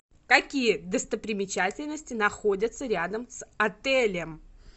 какие достопримечательности находятся рядом с отелем